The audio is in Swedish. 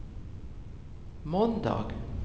måndag